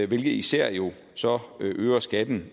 hvilket især jo så øger skatten